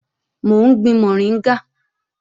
Mò ń gbin mọ̀ríngà